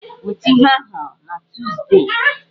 Weta ihe ahụ na Tọzdee!